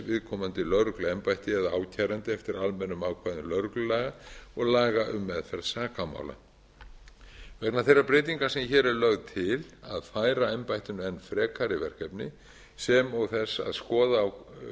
viðkomandi lögregluembætti eða ákæranda eftir almennum ákvæðum lögreglumála og laga um meðferð sakamála vegna þeirra breytinga sem hér eru lagðar til að færa embættinu enn frekari verkefni sem og þess að skoða